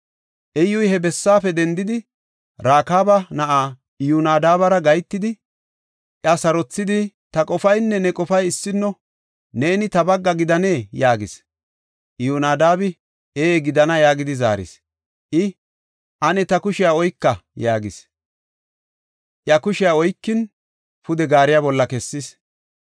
Iyyuy he bessaafe dendidi, Rakaaba na7aa Iyonadaabara gahetidi, iya sarothidi, “Ta qofaynne ne qofay issino. Neeni ta bagga gidanee?” yaagis. Iyyonadaabi, “Ee gidana” yaagidi zaaris. I “Ane ta kushiya oyka” yaagis. Iya kushiya oykin pude gaariya bolla kessis.